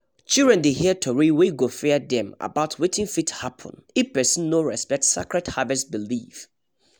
children dey hear tori wey go fear dem about wetin fit happen if person no respect sacred harvest belief